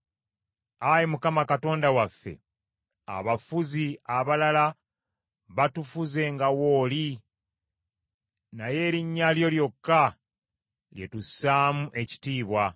Ayi Mukama Katonda waffe, abafuzi abalala batufuze nga wooli naye erinnya lyo lyokka lye tussaamu ekitiibwa.